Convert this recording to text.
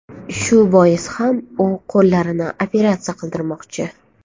Shu bois ham u qo‘llarini operatsiya qildirmoqchi.